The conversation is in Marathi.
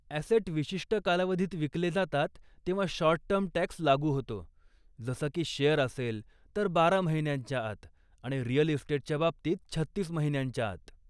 ॲसेट विशिष्ट कालावधीत विकले जातात तेव्हा शॉर्ट टर्म टॅक्स लागू होतो, जसं की शेअर असेल तर बारा महिन्यांच्या आत आणि रियल इस्टेटच्या बाबतील छत्तीस महिन्यांच्या आत.